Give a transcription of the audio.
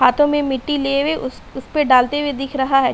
हाथों में मिट्टी लिए हुए उस- उसपे डालते हुए दिख रहा है।